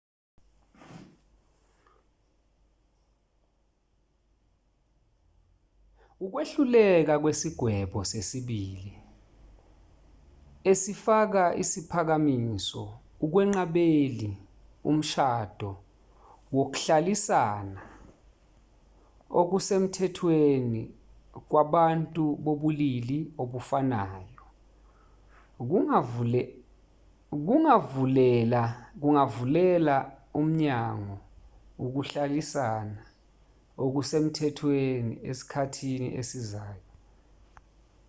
ukwehluleka kwesigwebo sesibili esifaka isiphakamiso ukwenqabeli umshado wokuhlalisana okusemthethweni kwabantu bobulili obufanayo kungavulela umnyango ukuhlalisana okusemthethweni esikhathini esizayo